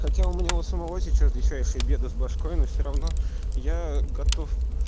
хотя у меня у самого сейчас дечайшие беды с бошкой но всё равно я готов